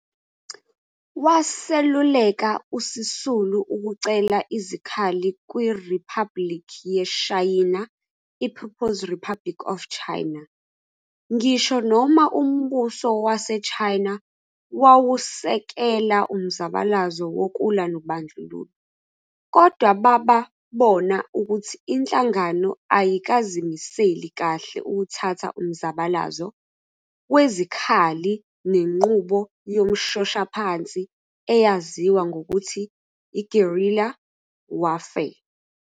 Wseluleka uSisulu ukucela izikhali kwiRiphabhuliki yeShayina i-People's Republic of China, ngisho noma umbuso waseShayina wawusekela umzabalazo wokulwa nobandlululo, kodwa bababona ukuthi inhlangano ayikazimiseli kahle ukuthatha umzabalazo wezikhalli ngenqubo yomshoshaphansi eyaziwa ngokuthi yi-guerilla warfare.